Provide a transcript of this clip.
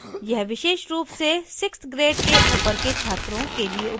यह विशेष रूप से 6th grade के ऊपर के छात्रों के लिए उपयोगी है